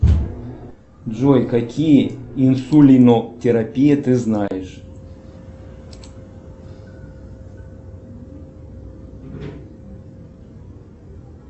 джой какие инсулинотерапии ты знаешь